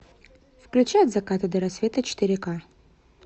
включай от заката до рассвета четыре ка